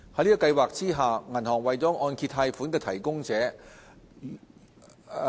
在計劃下，銀行為按揭貸款提供者。